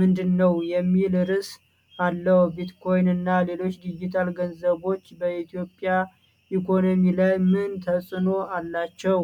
ምንድን ነው?" የሚል ርዕስ አለው። ቢትኮይን እና ሌሎች ዲጂታል ገንዘቦች በኢትዮጵያ ኢኮኖሚ ላይ ምን ተጽእኖ አላቸው?